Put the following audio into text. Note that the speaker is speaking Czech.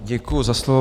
Děkuji za slovo.